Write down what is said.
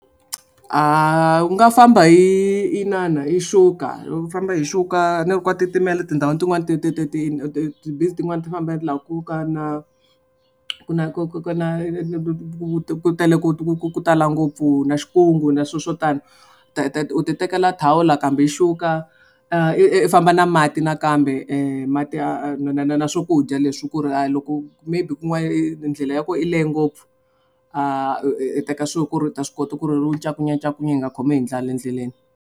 U nga famba hi inana hi xuka famba hi xuka a ni ri ka titimela tindhawini tin'wani ti ti ti ti ti ti busy tin'wani ti famba laha ku ka na ku na ku ku na ku tele ku tala ngopfu na na swilo swo tani u ti tekela thawula kambe yi xuka i i famba na mati nakambe mati na na na swakudya leswi ku ri a loko maybe kun'wana i ndlela ya kona yi lehe ngopfu a teka swilo ku ri u ta swi kota ku ri u ncakunyancakunya hi nga khomiwi hi ndlala endleleni.